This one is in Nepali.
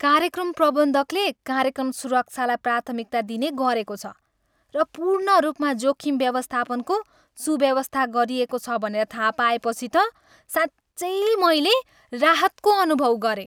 कार्यक्रम प्रबन्धकले कार्यक्रम सुरक्षालाई प्राथमिकता दिने गरेको छ र पूर्ण रूपमा जोखिम व्यवस्थापनको सुव्यवस्था गरिएको छ भनेर थाहा पाएपछि त साँच्चै मैले राहतको अनुभव गरेँ।